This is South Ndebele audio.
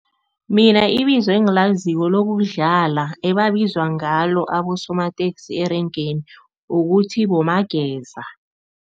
Mina ibizo engilaziko lokudlala ebabizwa ngalo abosomateksi erengeni kukuthi, bomabageza.